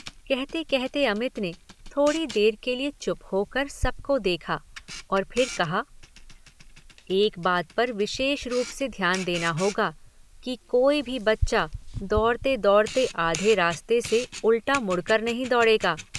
कहते कहते अमित ने थोड़ी देर के लिए चुप होकर सबको देखा और फिर कहा एक बात पर विशेष रूप से ध्यान देना होगा कि कोई भी बच्चा दौड़ते दौड़ते आधे रास्ते से उल्टा मुड़कर नहीं दौडे़गा।